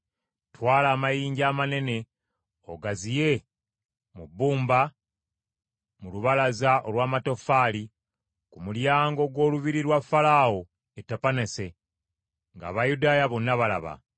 “Twala amayinja amanene ogaziike mu bbumba mu lubalaza olw’amatoffaali ku mulyango gw’olubiri lwa Falaawo e Tapaneese, ng’Abayudaaya bonna balaba.